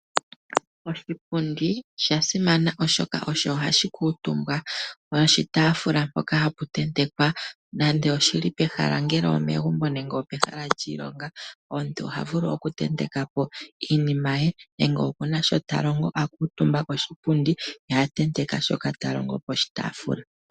Oshipundi osha simana, oshoka osho hashi kuutumbwa noshitaafula mpoka hapu tentekwa. Nando oshi li pehala ongele omegumbo nenge opehala lyiilonga omuntu oha vulu okutenteka po iinima ye. Nenge oku na shoka ta longo a kuutumba poshipundi ye a tenteka shoka ta longo poshitaafula.